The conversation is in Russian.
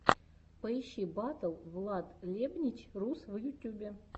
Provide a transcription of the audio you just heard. поищи батл владлебнич рус в ютьюбе